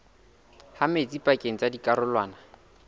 ha metsi pakeng tsa dikarolwana